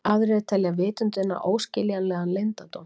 Frá þessu er greint á vef Austurgluggans.